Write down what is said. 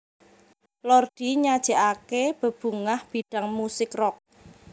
Lordi nyajèkaké bebungah bidang musik rock